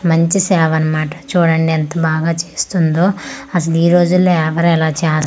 మంచి సేవ అన్నమాట చూడండి ఎంత బాగా చేస్తుందో అసలు ఈ రోజులో ఎవరు ఇలా చెస్--